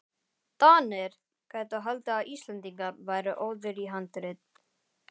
DANIR gætu haldið að Íslendingar væru óðir í handrit.